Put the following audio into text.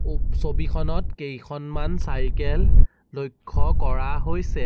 ওপ ছবিখনত কেইখনমান চাইকেল লক্ষ্য কৰা হৈছে।